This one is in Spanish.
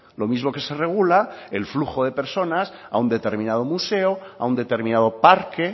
lo mismo que se regula el flujo de personas a un determinado museo a un determinado parque